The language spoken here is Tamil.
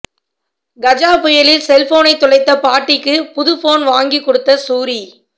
கஜா புயலில் செல்போனை தொலைத்த பாட்டிக்கு புதுபோன் வாங்கிக் கொடுத்த சூரி